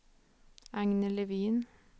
Agne Levin